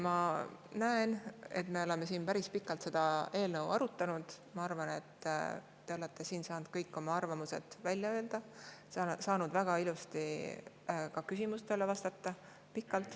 Me oleme seda eelnõu siin päris pikalt arutanud, ma arvan, et te olete saanud kõik oma arvamused välja öelda, saanud väga ilusasti ja pikalt ka küsimustele vastata.